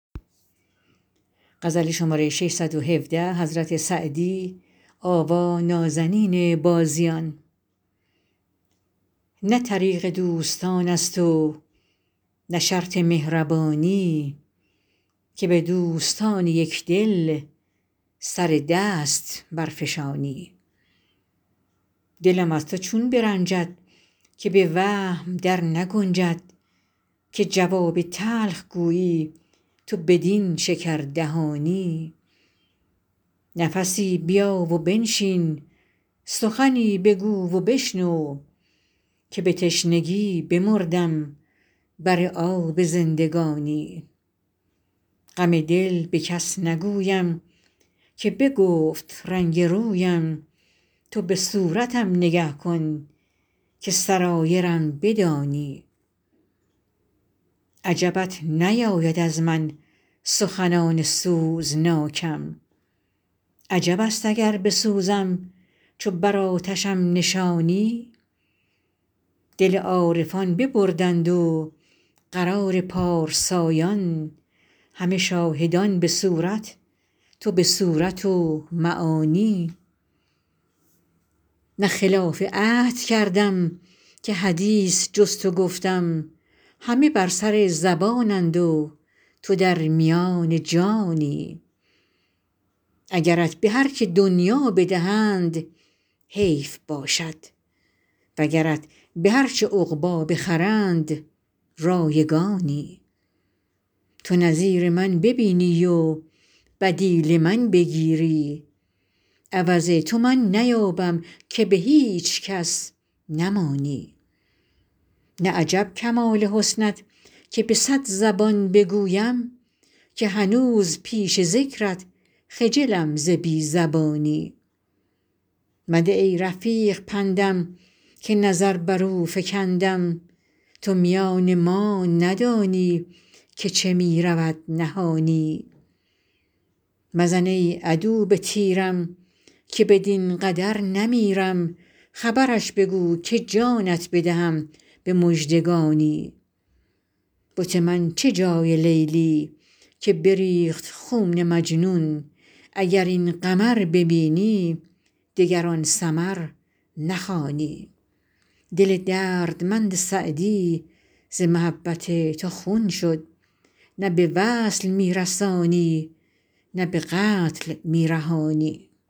نه طریق دوستان است و نه شرط مهربانی که به دوستان یک دل سر دست برفشانی دلم از تو چون برنجد که به وهم در نگنجد که جواب تلخ گویی تو بدین شکردهانی نفسی بیا و بنشین سخنی بگو و بشنو که به تشنگی بمردم بر آب زندگانی غم دل به کس نگویم که بگفت رنگ رویم تو به صورتم نگه کن که سرایرم بدانی عجبت نیاید از من سخنان سوزناکم عجب است اگر بسوزم چو بر آتشم نشانی دل عارفان ببردند و قرار پارسایان همه شاهدان به صورت تو به صورت و معانی نه خلاف عهد کردم که حدیث جز تو گفتم همه بر سر زبانند و تو در میان جانی اگرت به هر که دنیا بدهند حیف باشد وگرت به هر چه عقبی بخرند رایگانی تو نظیر من ببینی و بدیل من بگیری عوض تو من نیابم که به هیچ کس نمانی نه عجب کمال حسنت که به صد زبان بگویم که هنوز پیش ذکرت خجلم ز بی زبانی مده ای رفیق پندم که نظر بر او فکندم تو میان ما ندانی که چه می رود نهانی مزن ای عدو به تیرم که بدین قدر نمیرم خبرش بگو که جانت بدهم به مژدگانی بت من چه جای لیلی که بریخت خون مجنون اگر این قمر ببینی دگر آن سمر نخوانی دل دردمند سعدی ز محبت تو خون شد نه به وصل می رسانی نه به قتل می رهانی